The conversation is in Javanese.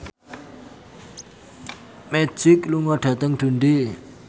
Magic lunga dhateng Dundee